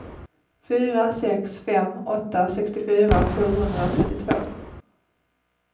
fyra sex fem åtta sextiofyra sjuhundratrettiotvå